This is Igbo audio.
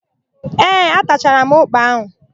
Ee, atachara m ụ́kpà áhụ̀.